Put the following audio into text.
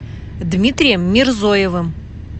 дмитрием мирзоевым